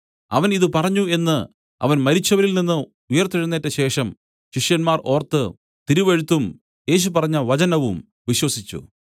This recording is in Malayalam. അവൻ ഇതു പറഞ്ഞു എന്നു അവൻ മരിച്ചവരിൽനിന്ന് ഉയിർത്തെഴുന്നേറ്റശേഷം ശിഷ്യന്മാർ ഓർത്തു തിരുവെഴുത്തും യേശു പറഞ്ഞ വചനവും വിശ്വസിച്ചു